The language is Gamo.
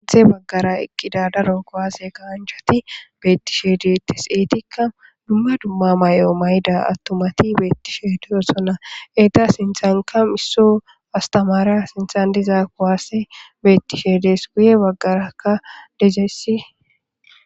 atdhe baggara eqqida daro kuwaase gaanchati beettishedetes eetikka dumme dumma may7o mayda attomati beettishe deyosona eta sinthanka misso astamaara sinthan diza kuwaasse beettishe des guye baggarakka dezessi